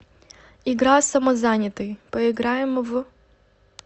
игра самозанятый поиграем в